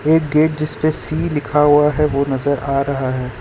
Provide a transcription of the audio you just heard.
एक गेट जिसपे सी लिखा हुआ है वो नजर आ रहा है।